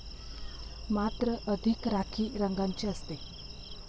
मात्र अधिक राखी रंगाची असते.